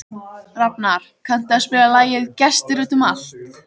Rafnar, kanntu að spila lagið „Gestir út um allt“?